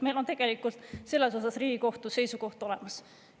Meil on tegelikult selles osas Riigikohtu seisukoht olemas.